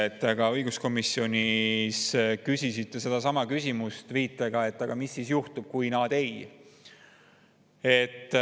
Te ka õiguskomisjonis küsisite sedasama küsimust, viidates, et aga mis siis juhtub, kui nad ei …